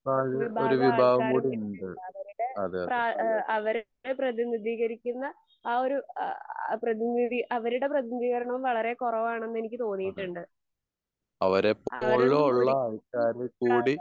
നാലിൽ ഒരു വിഭാഗം കൂടി ഉണ്ട് അതെ അതെ. അതെ. അതെ അവര് എപ്പോഴുള്ള ആള്ക്കാര് കൂടി